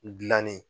Gilanni